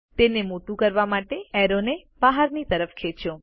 તેને મોટું કરવા માટે એરો ને બહાર ખેંચો